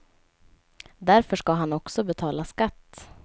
Därför ska han också betala skatt.